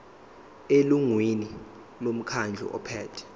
elungwini lomkhandlu ophethe